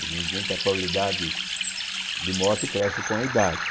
Evidentemente, a probabilidade de morte cresce com a idade.